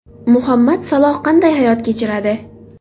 Muhammad Saloh qanday hayot kechiradi?.